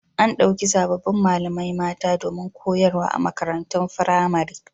A ɗauki sabbin malamai mata domin koyarwa a makarantun firamare.